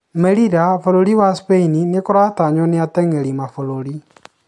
Melila-bũrũri wa Spain nĩ kũratanywa nĩ atengeri mabũrũri